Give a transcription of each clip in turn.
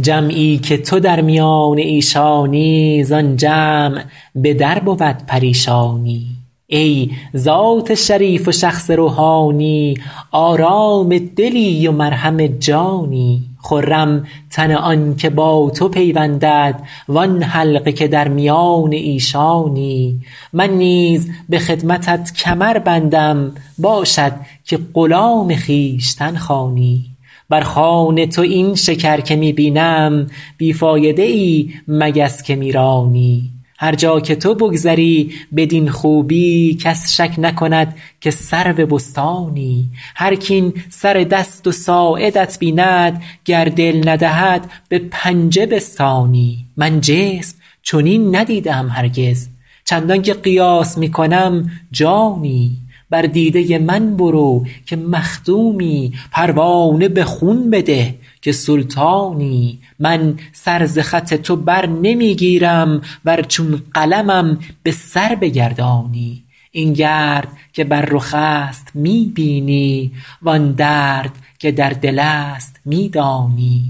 جمعی که تو در میان ایشانی زآن جمع به در بود پریشانی ای ذات شریف و شخص روحانی آرام دلی و مرهم جانی خرم تن آن که با تو پیوندد وآن حلقه که در میان ایشانی من نیز به خدمتت کمر بندم باشد که غلام خویشتن خوانی بر خوان تو این شکر که می بینم بی فایده ای مگس که می رانی هر جا که تو بگذری بدین خوبی کس شک نکند که سرو بستانی هرک این سر دست و ساعدت بیند گر دل ندهد به پنجه بستانی من جسم چنین ندیده ام هرگز چندان که قیاس می کنم جانی بر دیده من برو که مخدومی پروانه به خون بده که سلطانی من سر ز خط تو بر نمی گیرم ور چون قلمم به سر بگردانی این گرد که بر رخ است می بینی وآن درد که در دل است می دانی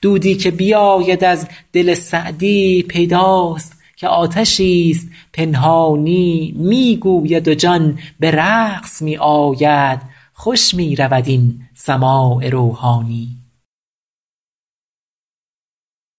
دودی که بیاید از دل سعدی پیداست که آتشی ست پنهانی می گوید و جان به رقص می آید خوش می رود این سماع روحانی